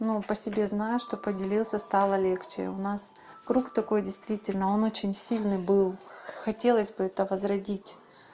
ну по себе знаю что поделился стало легче у нас круг такой действительно он очень сильный был хотелось бы это возродить